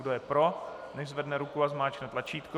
Kdo je pro, nechť zvedne ruku a zmáčkne tlačítko.